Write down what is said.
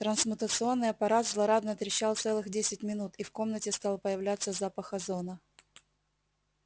трансмутационный аппарат злорадно трещал целых десять минут и в комнате стал появляться запах озона